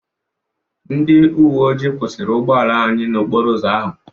Ndị uwe ojii kwụsịrị ụgbọala anyị n'okporo ụzọ ahụ.